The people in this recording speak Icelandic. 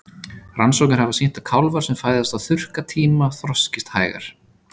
Rannsóknir hafa sýnt að kálfar sem fæðast á þurrkatíma þroskist hægar.